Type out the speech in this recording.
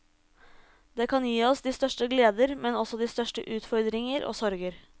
Det kan gi oss de største gleder, men også de største utfordringer og sorger.